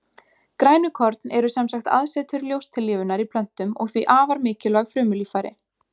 Grænukorn eru sem sagt aðsetur ljóstillífunar í plöntum og því afar mikilvæg frumulíffæri.